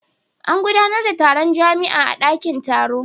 An gudanar da taron jami'a a dakin taro.